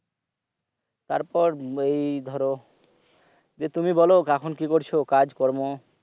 তারপর এই ধরো দিয়ে তুমি বল কি করছো কাজকর্ম